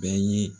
Bɛɛ ye